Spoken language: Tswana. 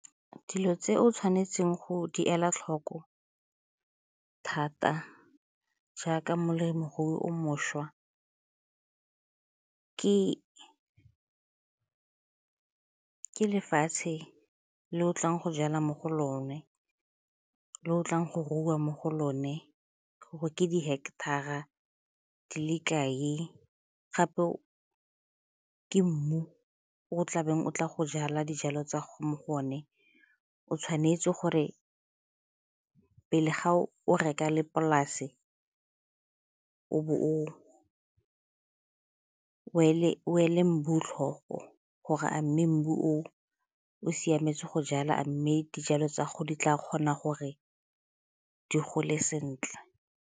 Dilo tse o tshwanetseng go di ela tlhoko thata jaaka molemirui o mošwa ke lefatshe le o tlang go jala mo go lone, le o tlang go rua mo go lone, gore ke di-hectar-ra di le kae, gape go ka ke mmu o tlabeng o tla go jala dijalo tsa go mo go one. O tshwanetse gore pele ga o reka le polase o bo o ele mmu tlhoko o gore a mme mmu o o siametse go jala, a mme dijalo tsa gago di tla kgona gore di gole sentle?